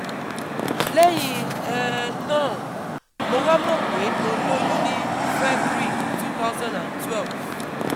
Lẹ́yìn um náà, mo wá mọ̀ pé mo lóyún ní February twenty twelve